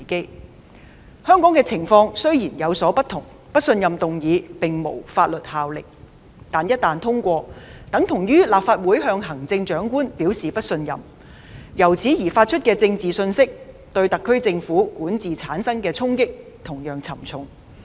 雖然香港的情況有所不同，不信任議案並無法律效力，但一旦通過，等於立法會向行政長官表示不信任，由此發出的政治信息對特區政府管治產生的衝擊同樣沉重。